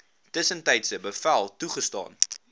tussentydse bevel toegestaan